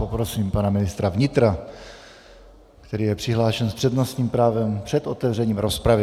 Poprosím pana ministra vnitra, který je přihlášen s přednostním právem před otevřením rozpravy.